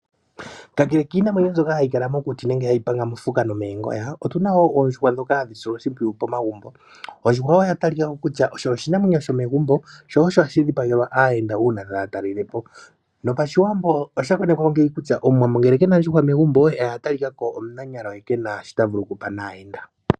Kakele kiinamwenyo mbyoka hayi kala mokuti nenge hayi panga mofuka no moongoya, otu na wo oondjuhwa ndhoka hadhi silwa oshimpwiyu pomagumbo. Ondjuhwa oya talika ko kutya osho oshinamwenyo sho megumbo. Sho osho hashi dhipagelwa aayenda uuna taya talelele po. No Pashiwambo osha konekwa ngeyi kutya Omuwambo ngele kena ondjuhwa megumbo, oha talika ko omunanyalo ye kena sho ta vulu okupa naayenda.